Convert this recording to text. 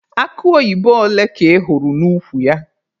Akụ oyibo ole ka ị hụrụ n'ukwu ya?